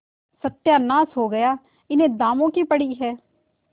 सत्यानाश हो गया इन्हें दामों की पड़ी है